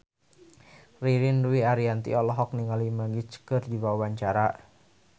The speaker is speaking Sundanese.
Ririn Dwi Ariyanti olohok ningali Magic keur diwawancara